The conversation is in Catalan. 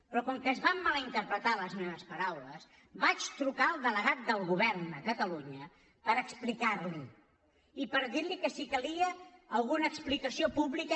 però com que es van mal interpretar les meves paraules vaig trucar al delegat del govern a catalunya per explicar l’hi i per dir li que si calia alguna explicació pública